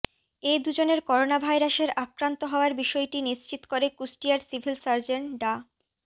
এ দুজনের করোনাভাইরাসের আক্রান্ত হওয়ার বিষয়টি নিশ্চিত করে কুষ্টিয়ার সিভিল সার্জন ডা